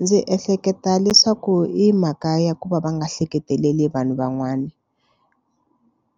Ndzi ehleketa leswaku i mhaka ya ku va va nga ehleketeleli vanhu van'wani